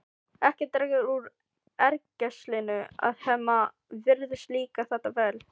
Ekki dregur úr ergelsinu að Hemma virðist líka þetta vel.